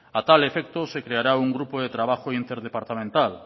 a tal efecto se creará un grupo de trabajo interdepartamental